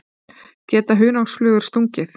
Geta hunangsflugur stungið?